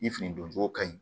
Ni fini don cogo ka ɲi